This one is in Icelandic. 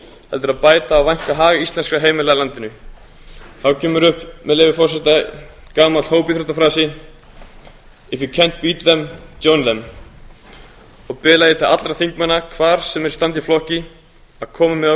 heldur að bæta og vænka hag íslenskra heimila í landinu þá kemur upp með leyfi forseta gamall hópíþróttafrasi og biðla ég til allra þingmanna hvar sem þeir standa í flokki að